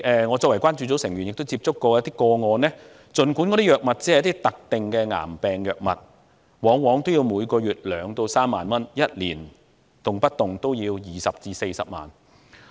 我作為關注組的成員，也曾接觸過一些個案，儘管那些藥物只是某種特定的癌病藥物，往往每月也要花費2萬至3萬港元，即每年動輒花費20萬至40萬港元。